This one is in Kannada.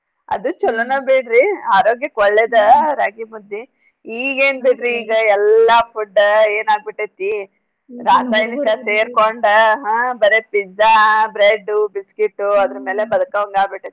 ಅದೂ ಚೊಲೋನ ಬಿಡ್ರಿ ಆರೋಗ್ಯಕ್ ಒಳ್ಳೇದ ರಾಗೀ ಮುದ್ದಿ. ಈಗೇನ್ ಬಿಡ್ರಿ ಈಗ ಎಲ್ಲಾ food ಎನಾಗ್ಬಿಟ್ಟೆತಿ ರಾಸಾಯನಿಕ ಸೇರ್ಕೊಂಡ ಹಾ ಬರೇ pizza bread biscuit ಅದ್ರ ಮ್ಯಾಲೇ ಬದ್ಕೊಂಗ ಆಗ್ಬಿಟ್ಟೇತಿ.